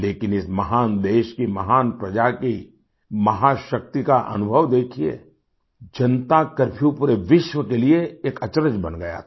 लेकिन इस महान देश की महान प्रजा की महाशक्ति का अनुभव देखिये जनता करफ्यू पूरे विश्व के लिए एक अचरज बन गया था